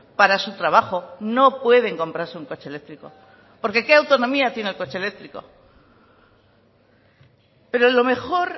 para su trabajo no pueden comprarse un coche eléctrico porque qué autonomía tiene el coche eléctrico pero lo mejor